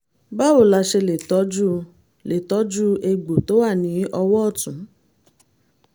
báwo la ṣe lè tọjú lè tọjú egbò tó wà ní ọwọ́ ọ̀tún?